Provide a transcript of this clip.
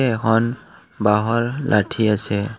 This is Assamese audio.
এখন বাঁহৰ লাঠী আছে।